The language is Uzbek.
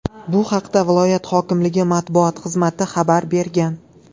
Bu haqda viloyat hokimligi matbuot xizmati xabar bergan .